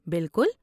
بالکل!